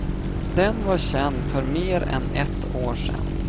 Den var känd för mer än ett år sen.